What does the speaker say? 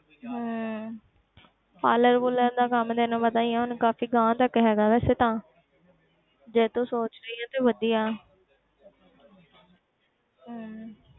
ਹਮ parlour parlour ਦਾ ਕੰਮ ਤੈਨੂੰ ਪਤਾ ਹੀ ਹੈ ਹੁਣ ਕਾਫ਼ੀ ਗਾਂਹ ਤੱਕ ਹੈਗਾ ਵੈਸੇ ਤਾਂ ਜੇ ਤੂੰ ਸੋਚ ਰਹੀ ਹੈ ਤੇ ਵਧੀਆ ਹਮ